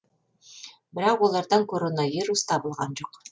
бірақ олардан коронавирус табылған жоқ